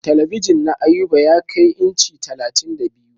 Talabijin na Ayuba ya kai inci talatin da biyu.